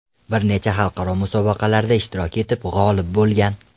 Bir necha xalqaro musobaqalarda ishtirok etib, g‘olib bo‘lgan.